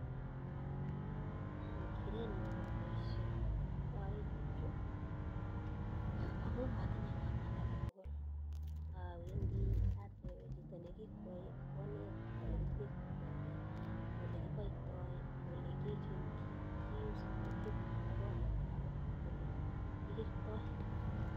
Kerenyuu akopa paishet aaee tukchuu kwamuu matinye ngamnanet akee tugul awendii atepee chito nikikwae koneta olekitektai korik akolee kipaitaii akolekipuktaii korik kwak akolekikertai